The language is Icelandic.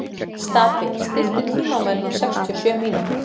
Stapi, stilltu tímamælinn á sextíu og sjö mínútur.